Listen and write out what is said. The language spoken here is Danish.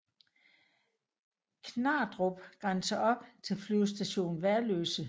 Knardrup grænser op til Flyvestation Værløse